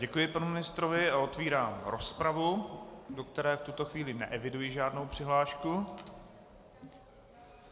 Děkuji panu ministrovi a otvírám rozpravu, do které v tuto chvíli neeviduji žádnou přihlášku.